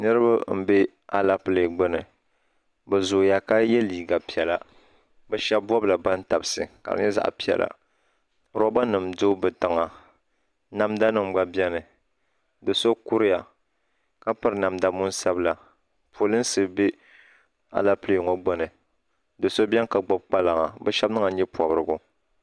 Niribi mbɛ aleple gbuni bɛ zooya ka yɛ liiga piɛlla bɛ shɛbi bɔbila bantabisi kari nyɛ zaɣi piɛlla lɔba nim do bɛ tiŋa namda nim gba biɛni ka so kuriya ka piri namda muna sabila polinsi bɛ aleple maa gbuni doo so bɛni ka gbubi kpaŋa bɛ shɛbi niŋla nyɛ pɔbirigu.